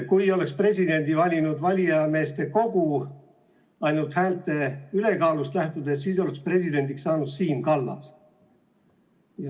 Kui presidendi oleks valinud valijameeste kogu, siis, ainult häälte ülekaalust lähtudes, oleks presidendiks saanud Siim Kallas.